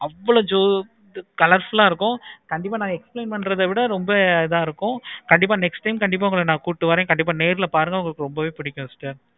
colorful ஆஹ் இருக்கும். கண்டிப்பா நா explain பண்றத விட ரொம்ப இத இருக்கும். கண்டிப்பா next time கண்டிப்பா உங்கள கூப்பிட்டு வரேன். கண்டிப்பா நேர்ல பாருங்க உங்களுக்கு ரொம்பவே பிடிக்கும்.